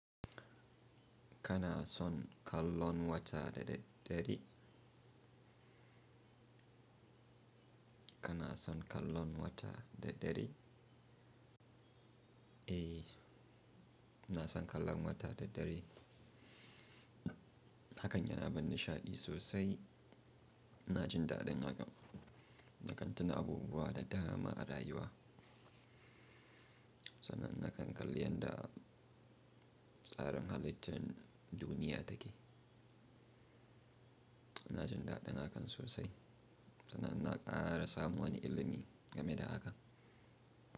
Kana son kallon wata da dare? Kana son kallon wata da dare? Eh, ina son kallon wata da dare. Hakan yana bani nishaɗi sosai. Na jin daɗin hakan, da kantana abubuwa da dama a rayuwa. Sannan na kan kalli yadda tsarin halittar duniya take. Na jin daɗin hakan sosai, sana'an ina ƙara samun wani ilimi game da haka.